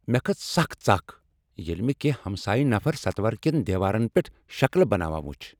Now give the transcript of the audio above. مےٚ کھژ سک ژکھ ییٚلہ مےٚ کیٚنہہ ہمسایہ نفر ستور کین دیوارن پیٹھ شکلہ بناوان وُچھ۔